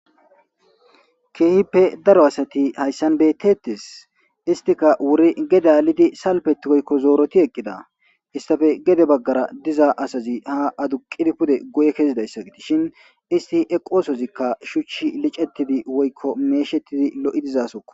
keehippe daro asati hayssan betetes istika wuri gedalidi salpetigoykko zooroti eqqida istafe gede baggara diza asazi ha aduqidi pude guye kezidayssa gidishin isti eqoosozikka shuchi licetidi woykko meeshettidi lo7i dizasokko